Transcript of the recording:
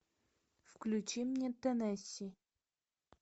включи мне теннесси